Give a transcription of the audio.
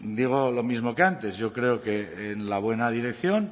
digo lo mismo que antes yo creo que en la buena dirección